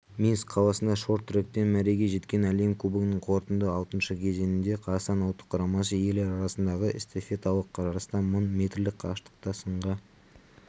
минск қаласында шорт-тректен мәреге жеткен әлем кубогының қорытынды алтыншы кезеңінде қазақстан ұлттық құрамасы ерлер арасындағы эстафеталық жарыста мың метрлік қашықтықта сынға